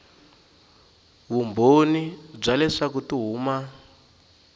vumbhoni bya leswaku ti huma